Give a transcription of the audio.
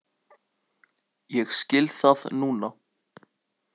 Ég skil það núna.